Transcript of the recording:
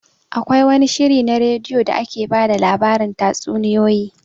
Akwai wani shiri na radio da ake ba da labari tatsuniyoyi